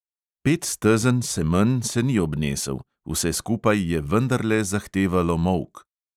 Petstezen semenj se ni obnesel, vse skupaj je vendarle zahtevalo molk.